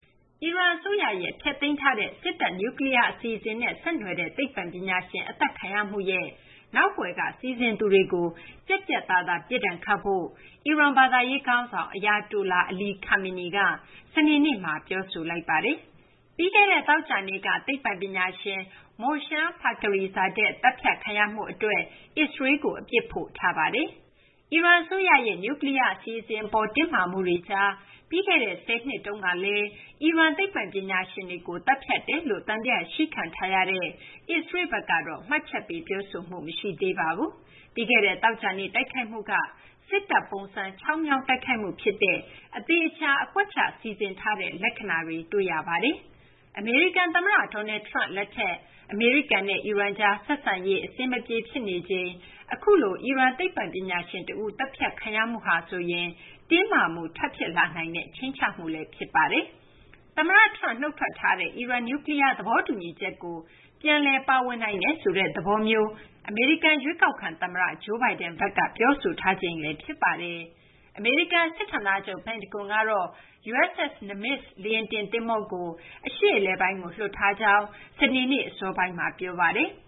အီရန်အစိုးရရဲ့ ဖျက်သိမ်းထားတဲ့ စစ်တပ် နျူကလီးယား အစီအစဉ်နဲ့ ဆက်နွှယ်တဲ့ သိပ္ပံပညာရှင် အသတ်ခံရမှုရဲ့ နောက်ကွယ်က စီစဉ်သူတွေကို ပြတ်ပြတ်သားသား ပြစ်ဒဏ်ခတ်ဖို့ အီရန် ဘာသာရေးခေါင်းဆောင် Ayatollah Ali Khamenei က စနေနေ့မှာ ပြောဆိုလိုက်ပါတယ်။ ပြီးခဲ့တဲ့ သောကြာနေ့က သိပ္ပံပညာရှင် Mohsen Fakhrizadeh သတ်ဖြတ်ခံရမှုအတွက် အစ္စရေးလ်ကို အပြစ်ဖို့ထားတာပါ။ အီရန်အစိုးရရဲ့ နျူကလီးယား အစီအစဉ်အပေါ် တင်းမာမှုတွေကြား ပြီးခဲ့တဲ့ ၁၀ နှစ်တုန်းကလည်း အီရန်သိပ္ပံပညာရှင်တွေကို သတ်ဖြတ်တယ်လို့ သံသယရှိခံထားရတဲ့ အစ္စရေးလ်ဘက်ကတော့ မှတ်ချက်ပေး ပြောဆိုမှု မရှိသေးပါဘူး။ ပြီးခဲ့တဲ့ သောကြာနေ့ တိုက်ခိုက်မှုကတော့ စစ်တပ်ပုံစံ ချောင်းမြောင်းတိုက်ခိုက်မှု ဖြစ်တဲ့ အသေအချာ အကွက်ချစီစဉ်ထားတဲ့ လက္ခဏာတွေ တွေ့ရပါတယ်။ အမေရိကန်သမ္မတ Donald Trump လက်ထက် အမေရိကန်နဲ့ အီရန်ကြား ဆက်ဆံရေး အဆင်မပြေဖြစ်နေချိန် အခုလို အီရန်သိပ္ပံပညာရှင်တဦး သတ်ဖြတ်ခံရမှုဟာဆိုရင် တင်းမာမှု ထပ်ဖြစ်လာနိုင်တဲ့ ခြိမ်းခြောက်မှု ဖြစ်ပါတယ်။ သမ္မတ Trump နုတ်ထွက်ထားတဲ့ အီရန် နျူကလီးယား သဘောတူညီချက်ကို ပြန်လည်ပါဝင်နိုင်တယ်ဆိုတဲ့ သဘောမျိုး အမေရိကန် ရွေးကောက်ခံသမ္မတ Joe Biden ဘက်က ပြောဆိုထားချိန်လည်း ဖြစ်ပါတယ်။ အမေရိကန်စစ်ဌာနချုပ် ပင်တဂွန်ကတော့ USS Nimitz လေယာဉ်တင်သင်္ဘောကို အရှေ့အလယ်ပိုင်းကို လွှတ်ထားကြောင်း စနေနေ့ အစောပိုင်းက ပြောပါတယ်။